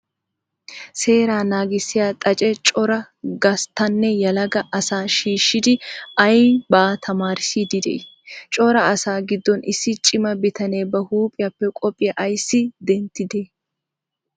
seeraa naaggissiyaa xaace cora gasttanne yeelagaa asaa shishshidi aybaa taammarissiydi de'i? cora asaa giddon issi cima bitanne ba huphiyappe qophiya aysi denttidee?